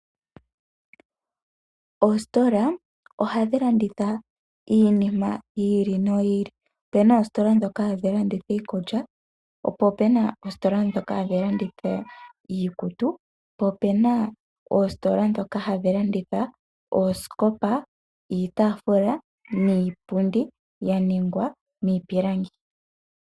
Oositola ohadhi landitha iinima yi ili noyi ili, opuna oositola ndhoka hadhi landitha iikulya, po opuna oositola ndhoka hadhi landitha iikutu, po opuna oositola ndhoka hadhi landitha oosikopa, iitaafula niipundi ya ningwa miipilangi.